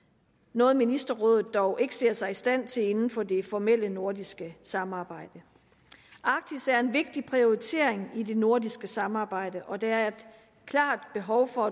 noget ministerrådet dog ikke ser sig i stand til inden for det formelle nordiske samarbejde arktis er en vigtig prioritering i det nordiske samarbejde og der er et klart behov for